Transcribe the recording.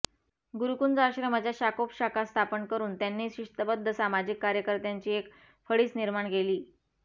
गुरुकुंज आश्रमाच्या शाखोपशाखा स्थापन करून त्यांनी शिस्तबद्ध सामाजिक कार्यकर्त्यांची एक फळीच निर्माण केली